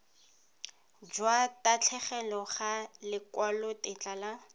jwa tatlhegelo ga lekwalotetla la